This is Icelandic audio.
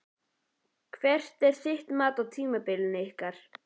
Hvert er þitt mat á tímabilinu ykkar?